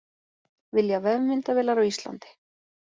Vilja vefmyndavélar á Íslandi